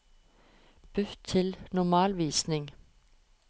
Bytt til normalvisning